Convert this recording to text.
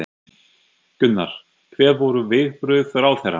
Gunnar: Hver voru viðbrögð ráðherra?